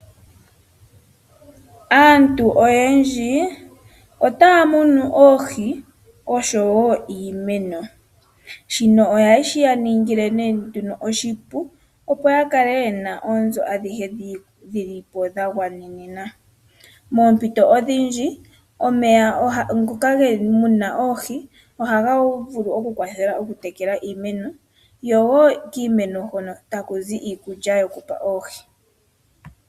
Aantu oyendji otaya munu oohi oshowo iimeno. Shika ohashi ya ningile oshipu opo ya ye na po oonzo adhihe dhi li po dha gwanena. Moompito odhindji omeya moka mu na oohi ohaga vulu okulongithwa okutekela iimeno kokiimeno taku zi iikulya yokupa oohi.